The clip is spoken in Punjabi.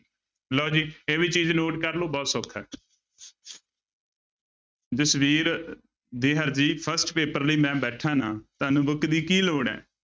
ਲਓ ਜੀ ਇਹ ਵੀ ਚੀਜ਼ note ਕਰ ਲਓ ਬਹੁਤ ਸੌਖਾ ਹੈ ਜਸਵੀਰ ਦਿਹਰ ਜੀ first ਪੇਪਰ ਲਈ ਮੈਂ ਬੈਠਾਂ ਨਾ ਤੁਹਾਨੂੰ book ਦੀ ਕੀ ਲੋੜ ਹੈ।